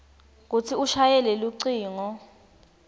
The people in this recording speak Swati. kutsi ushayele lucingo